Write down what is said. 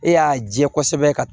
E y'a jɛ kosɛbɛ ka